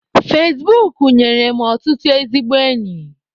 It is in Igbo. Fezbuk nyere m ọtụtụ ezigbo enyi.